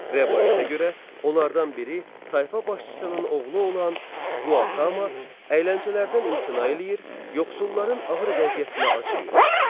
Rəvayətə görə onlardan biri tayfa başçısının oğlu olan Quatama əyləncələrdən imtina eləyir, yoxsulların ağır vəziyyətinə acıyır.